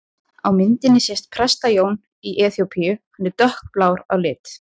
Á myndinni sést Presta-Jón í Eþíópíu, hann er dökkblár á lit.